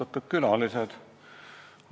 Austatud külalised!